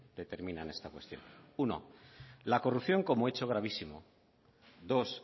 determinan esta cuestión uno la corrupción como hecho gravísimo dos